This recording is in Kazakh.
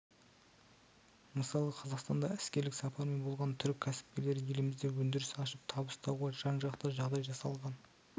мысалы қазақстанда іскерлік сапармен болған түрік кәсіпкерлері елімізде өндіріс ашып табыс табуға жан-жақты жағдай жасалған